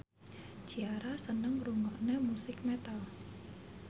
Ciara seneng ngrungokne musik metal